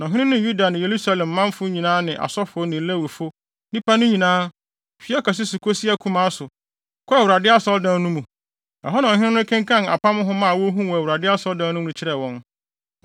Na ɔhene no ne Yuda ne Yerusalem manfo nyinaa ne asɔfo ne Lewifo, nnipa no nyinaa, fi ɔkɛse so kosi akumaa so, kɔɔ Awurade Asɔredan no mu. Ɛhɔ na ɔhene no kenkan apam nhoma a wohuu wɔ Awurade Asɔredan mu no kyerɛɛ wɔn.